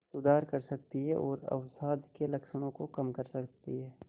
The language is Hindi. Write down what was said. सुधार कर सकती है और अवसाद के लक्षणों को कम कर सकती है